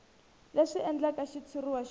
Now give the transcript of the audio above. leswi endlaka xitshuriwa xo ka